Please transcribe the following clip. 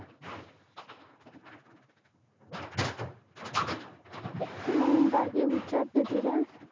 मग बाकी विचारते तिला,